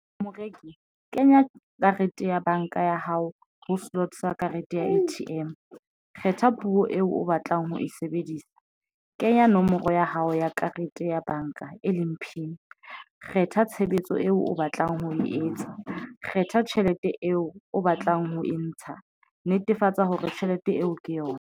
Moreki, kenya karete ya banka ya hao ho sloot for Karete ya A_T_M kgetha puo eo o batlang ho e sebedisa. Kenya nomoro ya hao ya karete ya banka, e leng PIN Kgetha tshebetso eo o batlang ho e etsa. Kgetha tjhelete eo o batlang ho e ntsha netefatsa hore tjhelete eo ke yona.